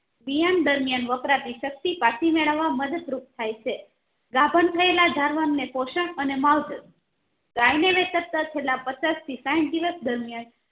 વિહામણ દરમિયાન વપરાતી શક્તિ પછી મેળવવા માટે મદદરૂપ થાય છે ગાભણ થયેલા ધારવાન ને પોષણ અને માવજત ગાય છેલ્લા પચાસ થી સાહીઠ દિવસ દરમિયાન